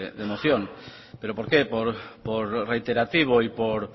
de moción por qué por reiterativo y